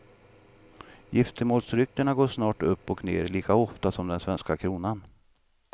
Giftemålsryktena går snart upp och ner lika ofta som den svenska kronan.